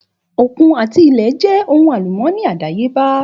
Òkun àti ilẹ̀ jẹ́ ohun àlùmọ́ọ́nì àdáyébá